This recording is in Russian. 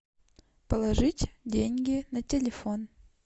положить деньги на телефон